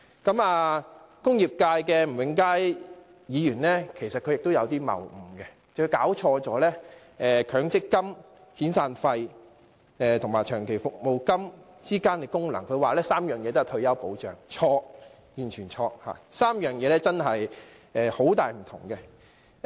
此外，工業界吳永嘉議員的發言也存在謬誤，他弄錯強積金、遣散費及長期服務金的功能，他說三者都是退休保障，這說法完全錯誤，三者實在有很大分別。